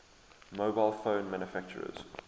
mobile phone manufacturers